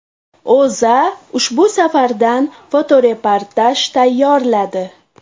O‘zA ushbu safardan fotoreportaj tayyorladi .